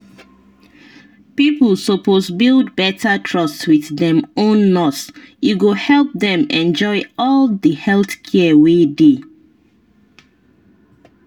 people suppose build better trust wit dem own nurse e go help dem enjoy all di health care wey dey.